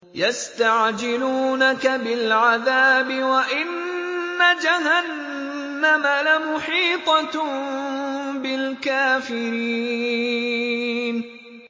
يَسْتَعْجِلُونَكَ بِالْعَذَابِ وَإِنَّ جَهَنَّمَ لَمُحِيطَةٌ بِالْكَافِرِينَ